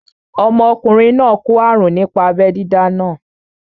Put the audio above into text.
Ọmọkùnrin náà kó àrùn nípa abẹ́ dídá náà